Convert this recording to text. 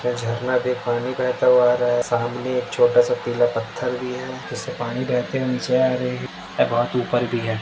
झरना मे पानी बहुत हुआ आ रहा है सामने एक छोटा सा पीला पत्थर भी है। जिससे पानी बहते हुए नीचे आ रहा है और बहुत बड़ा भी है।